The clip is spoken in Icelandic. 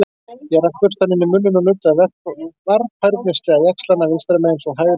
Ég rak burstann inn í munninn og nuddaði varfærnislega jaxlana vinstra megin- svo hægra megin.